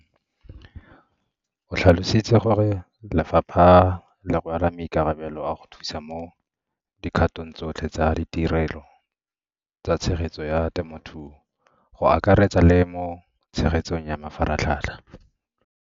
O tlhalositse gore lefapha le rwala maikarabelo a go thusa mo dikgatong tsotlhe tsa ditirelo tsa tshegetso ya temothuo, go akaretsa le mo tshegetsong ya mafaratlhatlha.